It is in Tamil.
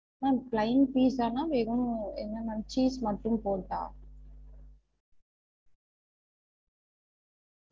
Ma'am plain pizza னா வெறும் இந்த மாறி cheese மட்டும் போட்டா?